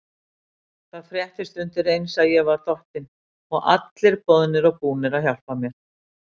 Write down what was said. Það fréttist undireins að ég var dottinn og allir boðnir og búnir að hjálpa mér.